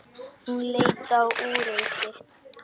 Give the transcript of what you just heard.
Hún leit á úrið sitt.